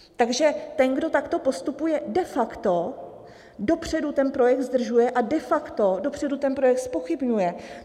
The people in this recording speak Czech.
Takže ten, kdo takto postupuje, de facto dopředu ten projekt zdržuje a de facto dopředu ten projekt zpochybňuje.